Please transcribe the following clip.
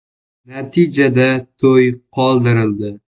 Natijada to‘y qoldirildi.